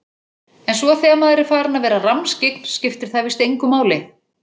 En svo þegar maður er farinn að vera rammskyggn skiptir það víst engu máli.